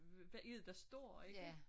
Hvad er det der står ikke